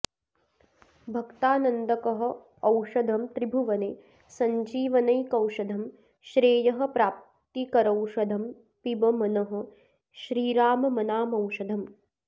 भक्तानन्दकरौषधं त्रिभुवने सञ्जीवनैकौषधं श्रेयः प्राप्तिकरौषधं पिब मनः श्रीराममनामौषधम्